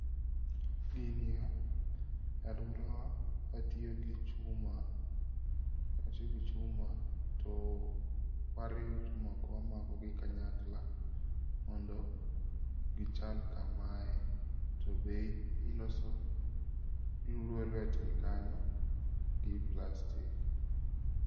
Gini e e aluorawa watiyo gi chuma, watiyo gi chuma to wariwo chumago wamako gi kanyakla mondo gichal kamae to be iloso lwetgi kanyo gi plastic